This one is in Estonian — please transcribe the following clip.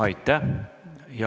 Aitäh!